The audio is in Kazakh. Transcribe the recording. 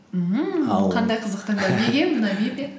ммм ал қандай қызық таңдау неге намибия